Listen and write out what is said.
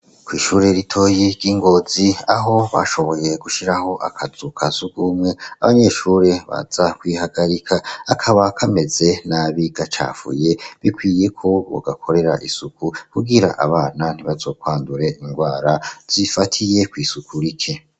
Kw'ishure ritoyi ry'Ingozi, aho bashoboye gushiraho akazu ka sugumwe abanyeshure baza kwihagarika, kakaba kameze nabi gacafuye, bikwiye ko bogakorera isuku kugira abana ntibazokwandure indwara zifatiye kw'isuku rike.